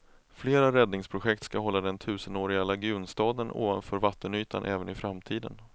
Flera räddningsprojekt ska hålla den tusenåriga lagunstaden ovanför vattenytan även i framtiden.